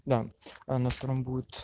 да а на втором будет